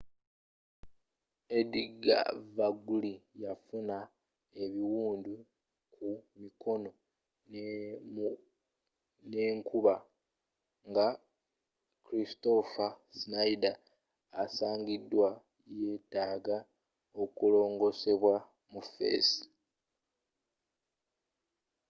edgar veguilla yafuna ebiwundu kumikono nekumba nga kristoffer schneider asigadde yetaaga okulongoosebwa mu fesi